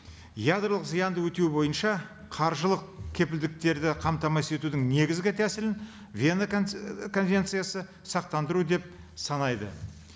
ядролық зиянды өтеу бойынша қаржылық кепілдіктерді қамтамасыз етудің негізгі тәсілін вена і конвенциясы сақтандыру деп санайды